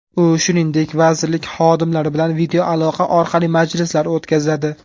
U, shuningdek, vazirlik xodimlari bilan videoaloqa orqali majlislar o‘tkazadi.